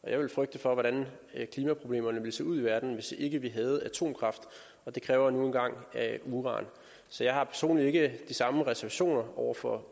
jeg ville frygte for hvordan klimaproblemerne ville se ud i verden hvis ikke vi havde atomkraft det kræver nu engang uran så jeg har personligt ikke de samme reservationer over for